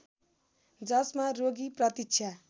जसमा रोगी प्रतीक्षा